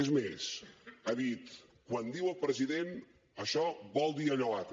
és més ha dit quan diu el president això vol dir allò altre